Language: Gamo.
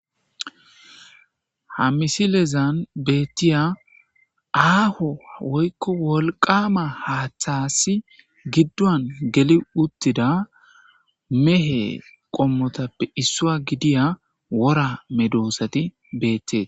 Ha misilezan betiya aho woyko wolqama hathasi giduwan gelidi utida mehe qommotappe issuwa gidiya wora medosati betese